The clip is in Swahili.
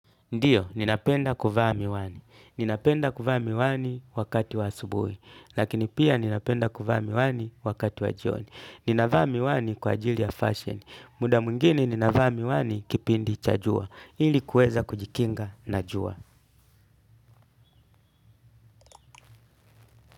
Ndio, ninapenda kuvaa miwani. Ninapenda kuvaa miwani wakati wa asubui. Lakini pia ninapenda kuvaa miwani wakati wa jioni. Ninavaa miwani kwa ajili ya fashion. Muda mwingini ninavaa miwani kipindi cha jua. Ili kueza kujikinga na jua.